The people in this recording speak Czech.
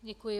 Děkuji.